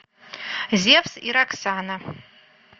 зевс и роксана